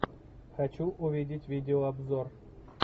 хочу увидеть видеообзор